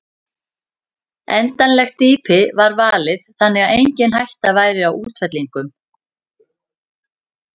Endanlegt dýpi var valið þannig að engin hætta væri á útfellingum.